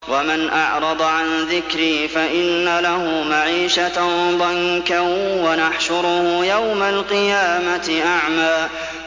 وَمَنْ أَعْرَضَ عَن ذِكْرِي فَإِنَّ لَهُ مَعِيشَةً ضَنكًا وَنَحْشُرُهُ يَوْمَ الْقِيَامَةِ أَعْمَىٰ